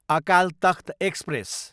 Akal Takht express